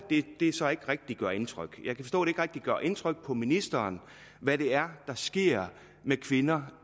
det så ikke rigtig gør indtryk gør indtryk på ministeren hvad det er der sker med kvinder